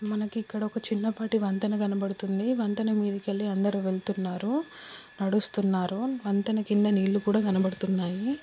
మనకు ఇక్కడ ఒక చిన్నపాటి వంతెన కనపడుతుంది. వంతెన మీదకువెళ్లి అందరు వెళ్తున్నారు నడుస్తున్నారు. వంతెన క్రింద నీళ్లు కూడా కనబడుతున్నాయి.